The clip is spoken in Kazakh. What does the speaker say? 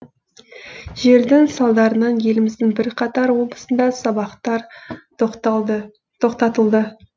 желдің салдарынан еліміздің бірқатар облысында сабақтар тоқтатылды